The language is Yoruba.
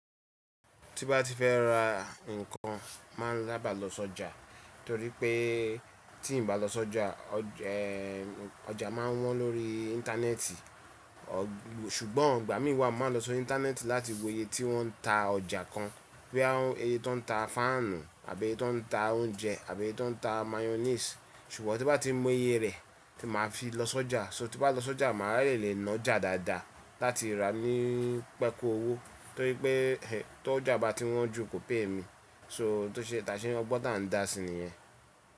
Tí bá ti fẹ́ ra nǹkan, má a ń saba lọ sójà, torí pé tí ń bá lọ sójà, ojà máa ń wọ́n lórí íńtánẹ́ẹ̀tì. Ṣùgbọ́n ìgbà mí wa máa lọ sí íńtánẹ́ẹ̀tì láti wo iye tí wọ́n ń ta ọjà kan. Boya iye tó ń ta fáànù àbí ẹye tí ó ń ta oúnjẹ àbí ẹye tí ó ń ta máyọ́nìsì. Ṣùgbọ́n tí bá ti mọ oye rẹ̀, tí màá fi lọ sójà. So tí n bá lọ sójà màá raye lè ná ọjà dáadáa láti rà ní pẹ́ku owó, torí pé en tó ọjà bá ti wọ́n jù kò pé mi. So tó ṣe é taṣé ọgbọ́n tà ń dà si nìyẹn.